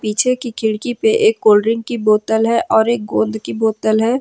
पीछे की खिड़की पे एक कोल्ड ड्रिंक की बोतल है और एक गोंद की बोतल है।